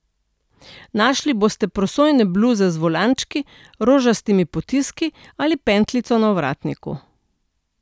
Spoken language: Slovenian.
Našli boste prosojne bluze z volančki, rožastimi potiski ali pentljico na ovratniku.